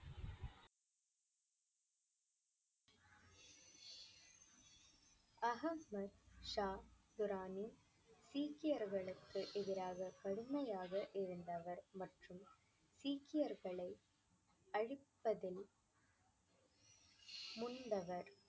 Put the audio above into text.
ஆஹமத் ஷா ராணி சீக்கியர்களுக்கு எதிராக கடுமையாக இருந்தவர் மற்றும் சீக்கியர்களை அழிப்பதில் முன்னவர்